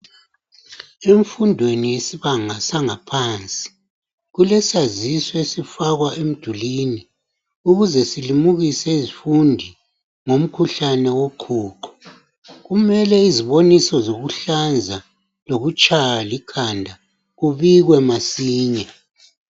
Emfundweni yesibanga sangaphansi kulesaziso esifakwa emdulwini ukuze silimukise izifundi ngomkhuhlane woqhuqho. Kumele iziboniso zokuhlanza lokutshaywa likhanda kubikwe masinya.